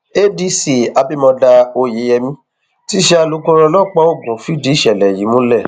adc abimodá oyeyèmí tí í ṣe alukoro ọlọpàá ogun fìdí ìṣẹlẹ yìí múlẹ